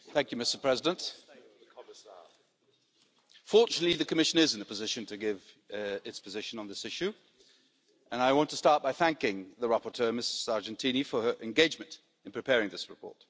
Mr President, fortunately, the Commission is in a position to give its position on this issue and I want to start by thanking the rapporteur, Ms Sargentini, for her engagement in preparing this report.